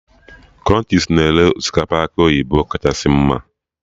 Krunchis na-ere osikapa akị oyibo kachasị mma